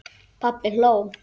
Pabbi hló.